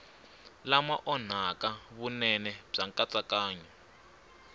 lama onhaka vunene bya nkatsakanyo